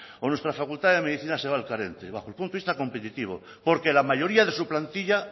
o nuestra facultad de medicina se va al el punto de vista competitivo porque la mayoría de su plantilla